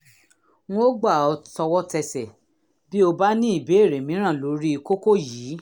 n ó gbà ọ́ tọwọ́tẹsẹ̀ bí o bá ní ìbéèrè mìíràn lórí kókó yìí